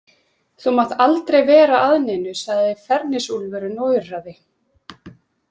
Þú mátt aldrei vera að neinu, sagði Fenrisúlfurinn og urraði.